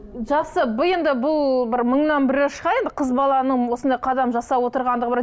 жақсы бұл енді бұл бір мыңнан бірі шығар енді қыз баланың осындай қадам жасап отырғандығы бір